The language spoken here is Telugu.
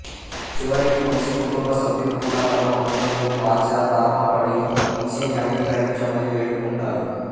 చివరికి వంశీ కుటుంబ సభ్యులు కూడా తమ పనులకు పశ్చాత్తాపపడి వంశీని అంగీకరించమని వేడుకుంటారు